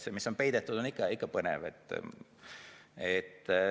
See, mis on peidetud, on ikka põnev.